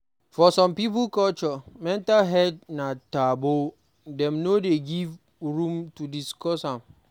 For some pipo culture, mental health na taboo, dem no dey give room to discuss am